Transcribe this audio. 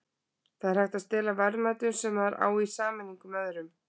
það er hægt að stela verðmætum sem maður á í sameiningu með öðrum